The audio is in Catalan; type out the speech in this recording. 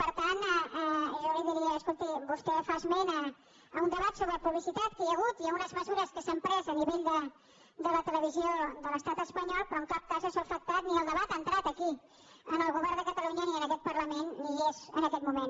per tant jo li diria es·colti vostè fa esment d’un debat sobre publicitat que hi ha hagut i d’unes mesures que s’han pres a nivell de la televisió de l’estat espanyol però en cap cas això ha afectat ni el debat ha entrat aquí al govern de catalu·nya ni a aquest parlament ni hi és en aquest moment